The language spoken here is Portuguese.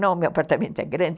Não, meu apartamento é grande.